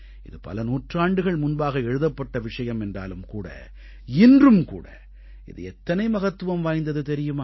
இது பல நூற்றாண்டுகள் முன்பாக எழுதப்பட்ட விஷயம் என்றாலும் இன்றும் கூட இது எத்தனை மகத்துவம் வாய்ந்தது தெரியுமா